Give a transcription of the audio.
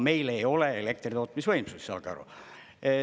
Meil ei ole elektritootmisvõimsusi, saage aru.